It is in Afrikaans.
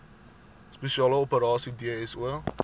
spesiale operasies dso